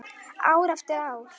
Ár eftir ár.